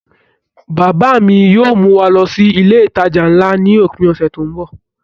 Bàbá à mi yóò mú wa lọ sí ilé-ìtàjà ńlá ni òpin ọ̀sẹ̀ tí ń bọ̀.